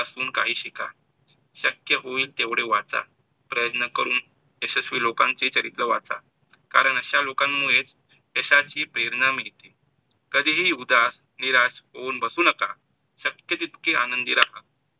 शक्य होईल तेवढे वाचा, प्रयत्न करून यशस्वी लोकांचे चरित्र वाचा, कारण अश्या लोकांमुळेच यशाची प्रेरणा मिळते. कधी ही उदास, निराश होऊन बसू नका. शक्य तितके आनंदी राहा.